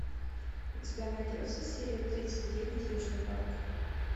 у тебя найдется серия тридцать девять южный парк